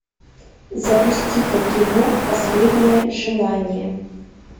запусти ка кино последнее желание